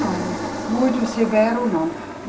Não, muito severo não.